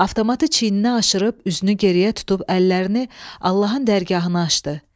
Avtomatı çiyninə aşırıb üzünü geriyə tutub əllərini Allahın dərgahına açdı.